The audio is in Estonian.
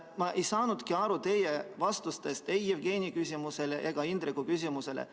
Ma ei saanudki aru teie vastusest ei Jevgeni küsimusele ega Indreku küsimusele.